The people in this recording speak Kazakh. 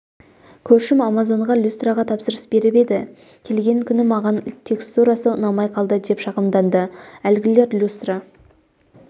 көршім амазонға люстраға тапсырыс беріп еді келген күні маған текстурасы ұнамай қалды деп шағымданды әлгілер люстра